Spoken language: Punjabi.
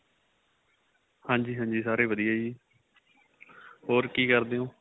ਹਾਂਜੀ ਹਾਂਜੀ ਸਾਰੇ ਵਧੀਆ ਜ਼ੀ ਹੋਰ ਕਿ ਕਰਦੇ ਏ ਹੋ